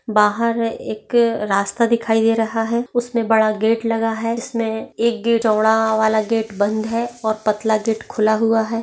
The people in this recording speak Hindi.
बाहर इक रास्ता दिखाई दे रहा है उसमे बड़ा गेट लगा है उसमे एक चौड़ावाला गेट बंद है और पतला गेट खुला हुआ है।